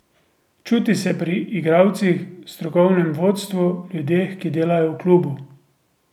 Čuti se pri igralcih, strokovnem vodstvu, ljudeh, ki delajo v klubu.